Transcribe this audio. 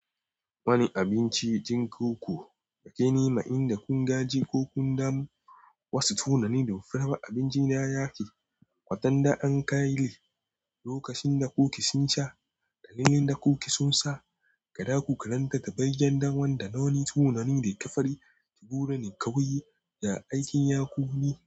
Wani abinci ɗin koko yake nema, inda kun gaji ko kun damu. Wasu tunanin da fure ma abinci na ya ke. Waɗannan an kai loƙacin da kuki sun sha, ɗalilin da kuki sun sa, gada ku karanta ta, bayyan ɗan wanda nawane tunani da ka fari ki goro ne ka wuyi da aikin ya ku mi.